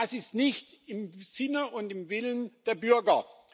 Und das ist nicht im Sinne und nach dem Willen der Bürger.